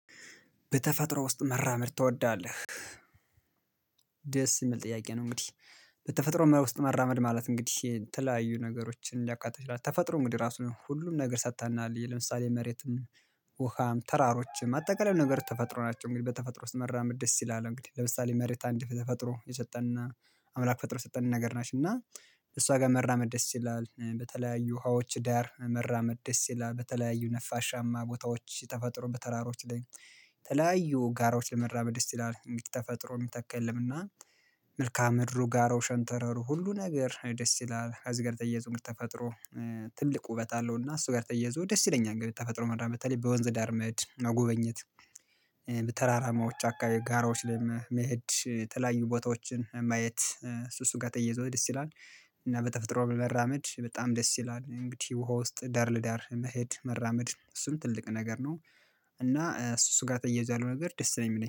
በተፈጥሮ ውስጥ መራመድ ትወዳለህ? ደስ የሚል ጥያቄ ነው። እንግዲህ በተፈጥሮም ውስጥ መራመድ ማለት እንግዲህ የተለያዩ ነገሮችን ሊያቃጥል ይችላል። ተፈጥሮ እንግዲህ ራሱ ሁሉም ነገር ሰጥተናል ለምሳሌ መሬትም ውሃም ተራሮችም አጠቃላይ ነገር ተፈጥሮ ናቸው። እንግዲህ በተፈጥሮ ውስጥ መራመድ ደስ ይላል። እንግዲህ ለምሳሌ መሬት አንድ ተፈጥሮ የሰጠንና አምላክ ፈጥሮ ሰጠን ነገር ናችሁ። እና እሷ ጋር መራመድ ደስ ይላል በተለያዩ ውሃዎች ዳር መራመድ ደስ ይላል በተለያዩ ነፋሻማ ቦታዎች ተፈጥሮ በተራሮች ላይ ተለያዩ ጋራዎች ለመራበድ ደስ ይላል። እንግዲህ ተፈጥሮ የሚተካ የለምና መልካም ምድሩ ጋር ሮሸንተረሩ ሁሉ ነገር ደስ ይላል። ከዜ ጋር ተያይዞ እንግዲህ ተፈጥሮ ትልቅ ውበት አለውና እሱ ጋር ተያይዞ ደስ ይለኛል። እንግዲህ ተፈጥሮ መራመድ በተለይ በወንዝ ዳር መሄድ መጎበኘት በተራራማዎች አካባቢ ጋራዎች ላይ መሄድ የተለያዩ ቦታዎችን ማየት እሱ እሱ ጋር ተይዞ ደስ ይላል። እና በተፈጥሮ ብ መራመድ በጣም ደስ ይላል። እንግዲህ ውሃ ውስጥ ዳር ለዳር መሄድ መራመድ እሱም ትልቅ ነገር ነው። እና እሱ እሱ ስጋ ተያይዞ ያለው ነገር ደስ ነው የሚለኝ